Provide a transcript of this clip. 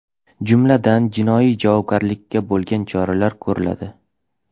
Jumladan, jinoiy javobgarlikkacha bo‘lgan choralar ko‘riladi.